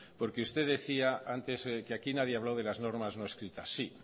porque usted decía antes que aquí nadie ha hablado de las normas no escritas sí